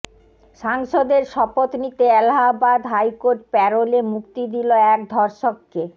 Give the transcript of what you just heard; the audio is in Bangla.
সাংসদের শপথ নিতে এলাহাবাদ হাইকোর্ট প্যারোলে মুক্তি দিল এক ধর্ষককে